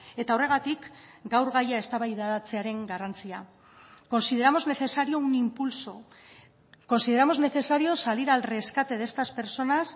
eta horregatik gaur gaia eztabaidatzearen garrantzia consideramos necesario un impulso consideramos necesario salir al rescate de estas personas